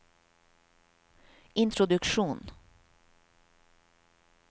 introduksjon